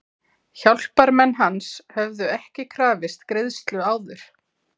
Hjálparmenn hans höfðu ekki krafist greiðslu áður.